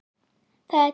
Það er tekið að hausta.